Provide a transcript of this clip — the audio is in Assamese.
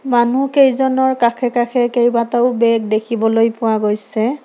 মানুহকেইজনৰ কাষে কাষে কেবাটাও বেগ দেখিবলৈ পোৱা গৈছে।